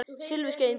Silfurskeiðin hvað?